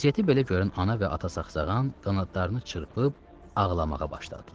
Vəziyyəti belə görən ana və ata saxsağan qanadlarını çırpıb ağlamağa başladılar.